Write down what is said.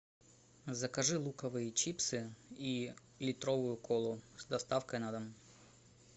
закажи луковые чипсы и литровую колу с доставкой на дом